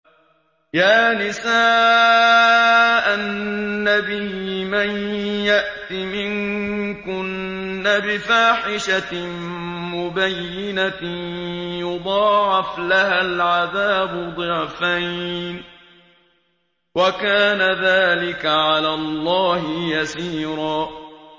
يَا نِسَاءَ النَّبِيِّ مَن يَأْتِ مِنكُنَّ بِفَاحِشَةٍ مُّبَيِّنَةٍ يُضَاعَفْ لَهَا الْعَذَابُ ضِعْفَيْنِ ۚ وَكَانَ ذَٰلِكَ عَلَى اللَّهِ يَسِيرًا